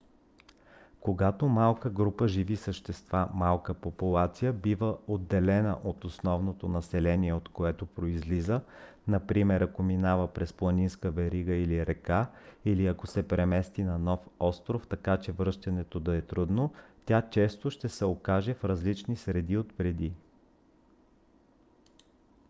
когато малка група живи същества малка популация бива отделена от основното население от което произлиза например ако минава през планинска верига или река или ако се премести на нов остров така че връщането да е трудно тя често ще се окаже в различна среда от преди